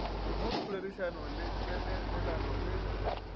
mo poledišanong le tsenelelano le